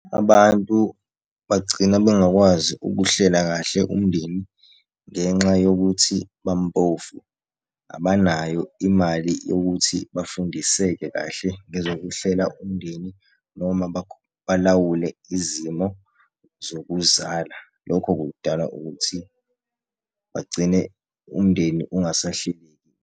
Abantu bagcina bengakwazi ukuhlela kahle umndeni ngenxa yokuthi bampofu, abanayo imali yokuthi bafundiseke kahle ngezokuhlela umndeni, noma balawule izimo zokuzala. Lokho kudala ukuthi bagcine umndeni ungasahleleki.